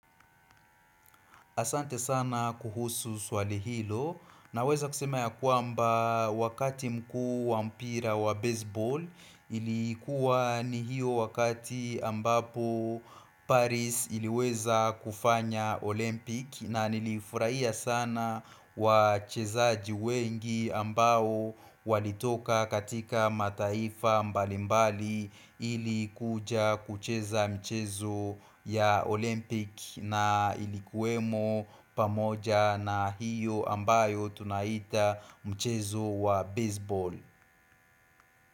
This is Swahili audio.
Asante sana kuhusu swali hilo na weza kusema ya kwamba wakati mkuu wa mpira wa baseball ilikuwa ni hiyo wakati ambapo Paris iliweza kufanya Olympic na nilifurahia sana wa chezaji wengi ambao walitoka katika mataifa mbalimbali ilikuja kucheza mchezo ya Olympic na ilikuwemo pamoja na hiyo ambayo tunaita mchezo wa baseball.